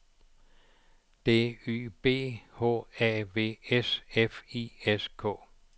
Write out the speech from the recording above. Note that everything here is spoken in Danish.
D Y B H A V S F I S K